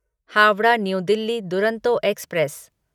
Howrah new Delhi Duronto express